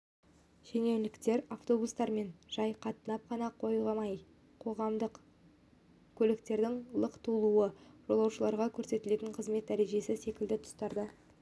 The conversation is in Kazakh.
шенеуніктер автобустармен жай қатынап қана қоймай қоғамдық көліктердің лық толуы жолаушыларға көрсетілетін қызмет дәрежесі секілді тұстарда